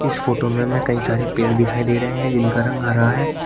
इस फोटो में हमें कई सारे पेड़ दिखाई दे रहे हैं जिनका रंग हरा है।